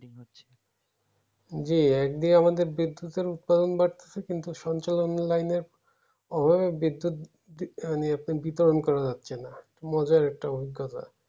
জী একদিকে আমাদের বিদ্যুতের উৎপাদন বাড়তেছে কিন্তু সঞ্চালনের line এর হয়ে বিদ্যুৎ বিতরণ করা যাচ্ছে না মজার একটা অঙ্করা